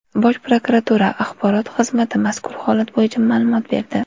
Bosh prokuratura axborot xizmati mazkur holat bo‘yicha ma’lumot berdi .